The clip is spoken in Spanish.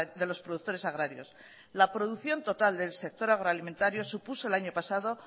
de los productores agrarios la producción total del sector agroalimentario supuso el año pasado